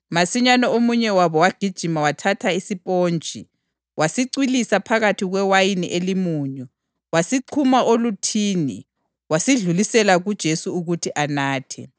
Masinyane omunye wabo wagijima wathatha isipontshi. Wasicwilisa phakathi kwewayini elimunyu, wasixhuma oluthini wasidlulisela kuJesu ukuthi anathe.